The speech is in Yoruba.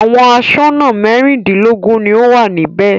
Àwọn aṣọ́nà mẹ́rìndínlógún ni ó wà níbẹ̀.